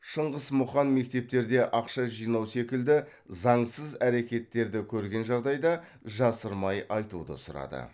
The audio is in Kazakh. шыңғыс мұқан мектептерде ақша жинау секілді заңсыз әрекеттерді көрген жағдайда жасырмай айтуды сұрады